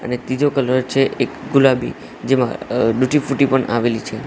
અને તીજો એક કલર છે એક ગુલાબી જેમાં ડુટી ફુટી પણ આવેલી છે.